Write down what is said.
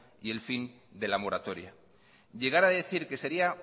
y el fin de la moratoria llegar a decir que sería